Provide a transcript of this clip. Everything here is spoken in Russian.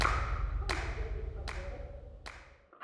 что найдется из подборок